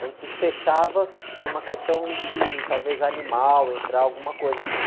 A gente fechava por uma questão de, talvez, animal entrar, alguma coisa assim.